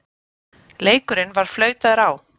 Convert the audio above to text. Leikurinn var flautaður á.